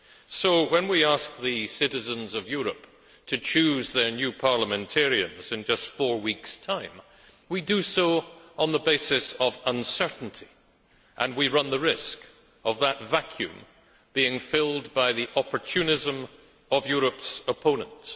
So, when we ask the citizens of Europe to choose their new parliamentarians in just four weeks' time, we do so on the basis of uncertainty and we run the risk of that vacuum being filled by the opportunism of Europe's opponents.